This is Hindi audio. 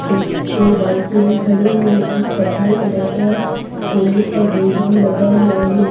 एक-दो बाइकें भी खड़ी हुई है एक कत्थई कलर का लोहे का गेट भी लगा हुआ है।